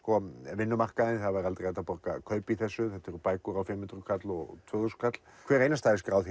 vinnumarkaðinn það væri aldrei hægt að borga kaup í þessu þetta eru bækur á fimm hundruð kall og tvö þúsund kall hver einasta er skráð